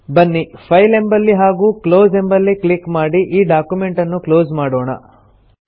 ಬನ್ನಿ ಫೈಲ್ ಎಂಬಲ್ಲಿ ಹಾಗೂ ಕ್ಲೋಸ್ ಎಂಬಲ್ಲಿ ಕ್ಲಿಕ್ ಮಾಡಿ ಈ ಡಾಕ್ಯುಮೆಂಟನ್ನು ಕ್ಲೋಸ್ ಮಾಡೋಣ